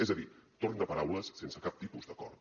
és a dir torn de paraules sense cap tipus d’acord